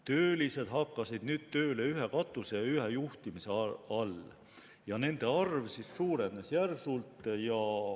Töölised hakkasid tööle ühe katuse ja ühe juhtimise all ning nende arv suurenes järsult.